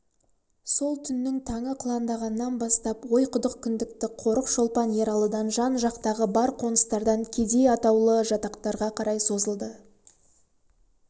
сол түннің таңы қыландағаннан бастап ойқұдық кіндікті қорық шолпан ералыдан жан-жақтағы бар қоныстардан кедей атаулы жатақтарға қарай созылды